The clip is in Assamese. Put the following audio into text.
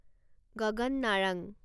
গগন নাৰাং